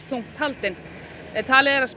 þungt haldin talið er að